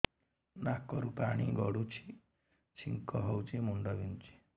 ନାକରୁ ପାଣି ଗଡୁଛି ଛିଙ୍କ ହଉଚି ମୁଣ୍ଡ ବିନ୍ଧୁଛି